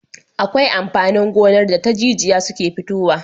Akwai amfanin gonar da ta jijiya suke futowa